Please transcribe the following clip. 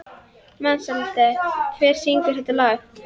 Mensalder, hver syngur þetta lag?